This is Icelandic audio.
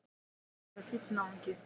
Hann virðist vera fínn náungi!